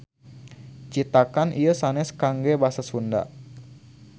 Citakan ieu sanes kangge basa Sunda